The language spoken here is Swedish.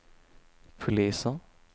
poliser